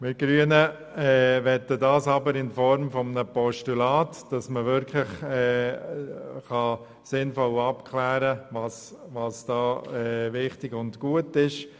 Wir Grünen möchten unterstützen, dass im Rahmen eines Postulats abgeklärt wird, was wichtig und gut ist.